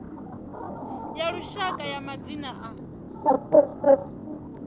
ya lushaka ya madzina a